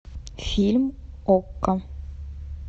фильм окко